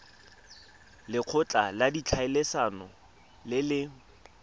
lekgotla la ditlhaeletsano le le